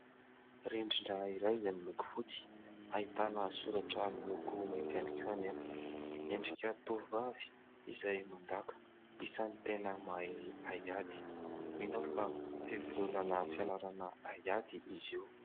Rindrina iray izay miloko fotsy, ahitana soratra miloko mainty ihany koa anefa. Endrika tovovavy izay mandaka, isan'ny tena mahay haiady. Mino aho fa fivondronana fianarana haiady izy io.